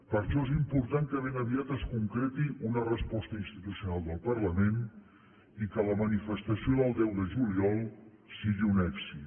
per això és important que ben aviat es concreti una resposta institucional del parlament i que la manifestació del deu de juliol sigui un èxit